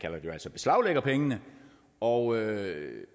beslaglægger pengene og